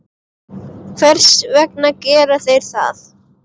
Hvers vegna gera þeir það?